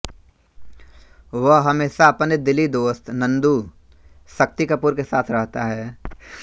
वह हमेशा अपने दिली दोस्त नंदू शक्ति कपूर के साथ रहता है